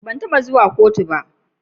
Ban taba zuwa kotu ba.